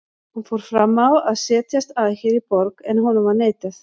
Hann fór fram á að setjast að hér í borg, en honum var neitað.